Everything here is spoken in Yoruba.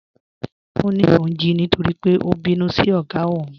Ọ ní óun jí nítorí pé ó bínú sí ogá ọ́ún.